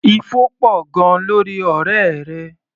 Ifo pọ̀ gan-an lórí ọ̀rẹ́ rẹ.